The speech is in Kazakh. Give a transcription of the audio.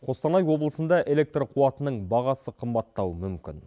қостанай облысында электр қуатының бағасы қымбаттауы мүмкін